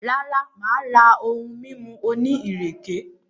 Rara, maa ra ohun mimu oni ireke.